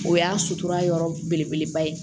O y'a sutura yɔrɔ belebeleba ye